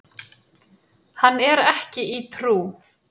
Hann er ekki í trú.